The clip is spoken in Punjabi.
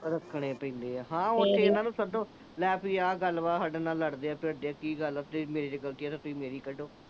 ਰੱਖਣੇ ਪੈਂਦੇ ਆ। ਲੈ ਭਾਈ ਆ ਗੱਲਬਾਤ ਆ, ਸਾਡੇ ਨਾਲ ਲੜਦੇ ਆ, ਭਿੜਦੇ ਆ। ਕੀ ਗੱਲ ਆ, ਤੁਸੀਂ ਮੇਰੇ ਚ ਗਲਤੀ ਆ ਤਾਂ ਮੇਰੇ ਚ ਕੱਢੋ।